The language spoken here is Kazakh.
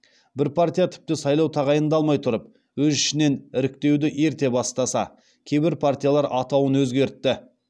бір партия тіпті сайлау тағайындалмай тұрып өз ішінен іріктеуді ерте бастаса кейбір партиялар атауын өзгертті